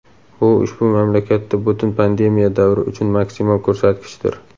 Bu ushbu mamlakatda butun pandemiya davri uchun maksimal ko‘rsatkichdir.